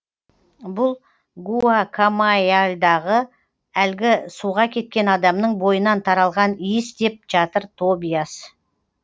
бұл гуакамайяльдағы әлгі суға кеткен адамның бойынан таралған иіс деп жатыр тобиас